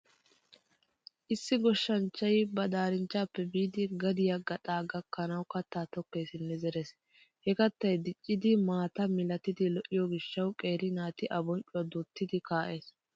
Issi goshshanchchay ba daarinchchappe biidi gadiya gaxaa gakkanawu kattaa tokkeesinne zerees. He kattay dicciiddi maataa milati lo'iyo gishshawu qeeri naati a bonccuwa duutti kaa'ees.